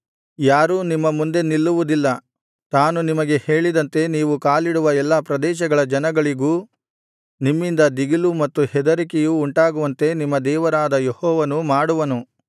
ಯಾರೂ ನಿಮ್ಮ ಮುಂದೆ ನಿಲ್ಲುವುದಿಲ್ಲ ತಾನು ನಿಮಗೆ ಹೇಳಿದಂತೆ ನೀವು ಕಾಲಿಡುವ ಎಲ್ಲಾ ಪ್ರದೇಶಗಳ ಜನಗಳಿಗೂ ನಿಮ್ಮಿಂದ ದಿಗಿಲೂ ಮತ್ತು ಹೆದರಿಕೆಯೂ ಉಂಟಾಗುವಂತೆ ನಿಮ್ಮ ದೇವರಾದ ಯೆಹೋವನು ಮಾಡುವನು